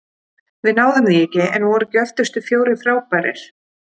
Við náðum því ekki- en voru ekki öftustu fjórir frábærir?